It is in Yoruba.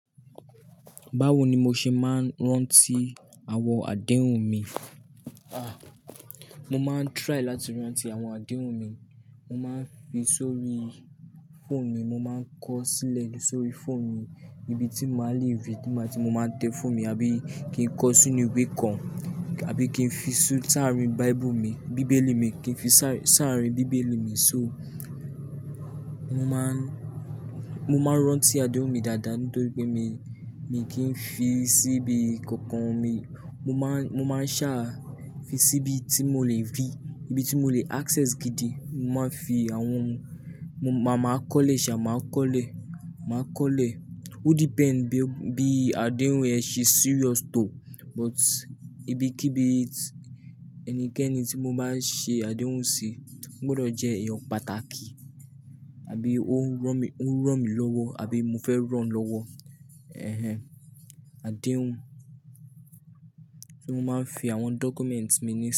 Báwo ni mo ṣe máa ń rántí àwọn àdéhùn mi? Mo máa ń try láti rántí àwọn àdéhùn mi. Mo máa ń fi sórí fóònù mi, mo máa ń kọ sílẹ̀ sórí fóònù mi níbi tí màá le rí i tí mo báa n tẹ fóònù mi àbí kí n kọ sínú ìwé kan àbí kí n fi sáàárín bible mi, bíbélì mi, kí n fi saa sáàárín bíbélì mi sóo. Mo máa ń, mo máa ń rántí àdéhùn mi dáadáa nítorí pé mi, mi kí ń fi síbi kankan mi. Mo máa ń, mo máa ń ṣaá fi síbi tí mo lè rí i, ibi tí mo lè access gidi. Mo máa ń fi àwọn, mo ma máa kọ́lẹ̀ ṣe à máa kọ́lẹ̀, máa kọ́lẹ̀. Ó depend bí, bí àdéhùn yẹn ṣe serious tó, but ibikíbí ẹnikẹ́ni tí mo báa ṣe àdéhùn sí, ó gbọdọ̀ jẹ́ èèyàn pàtàkì abí ó ń rán mi, ó ń rán mi lọ́wọ́ àbí mo fẹ́ ràn-án lọ́wọ́. Ehen, àdéhùn, ti mo máa ń fi àwọn documents mi ní.